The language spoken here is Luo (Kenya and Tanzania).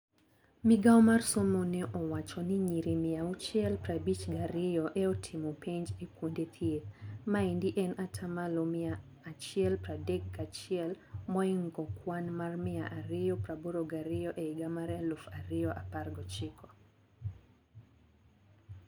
Migao mar somo neowacho ni nyiri mia auchiel prabich gi ario e otimo penj e kuende thieth. Maendi en atamalo mia achiel pradek gachiel moingo kwan mar mia ario praboro gario e higa mar eluf ario apar gochiko.